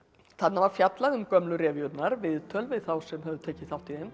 þarna var fjallað um gömlu viðtöl við þá sem höfðu tekið þátt í þeim